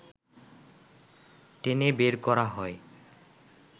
টেনে বের করা হয়